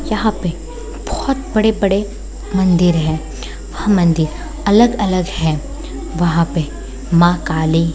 यहाँ पे बहुत बड़े बड़े मंदिर हैं और मंदिर अलग अलग हैं | वहाँ पे माँ काली --